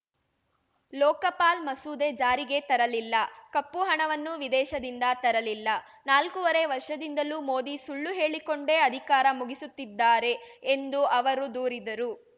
ಲೋಕಪಾಲ್‌ ಮಸೂದೆ ಜಾರಿಗೆ ತರಲಿಲ್ಲ ಕಪ್ಪು ಹಣವನ್ನೂ ವಿದೇಶದಿಂದ ತರಲಿಲ್ಲ ನಾಲ್ಕೂವರೆ ವರ್ಷದಿಂದಲೂ ಮೋದಿ ಸುಳ್ಳು ಹೇಳಿಕೊಂಡೇ ಅಧಿಕಾರ ಮುಗಿಸುತ್ತಿದ್ದಾರೆ ಎಂದು ಅವರು ದೂರಿದರು